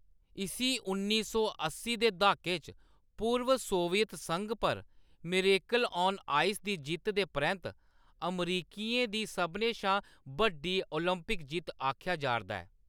इसी उन्नी सौ अस्सी दे द्हाके च पूर्व सोवियत संघ पर "मिरेकल ऑन आइस" दी जित्त दे परैंत्त अमरिकियें दी सभनें शा बड्डी ओलंपिक जित्त आखेआ जा ’रदा ऐ।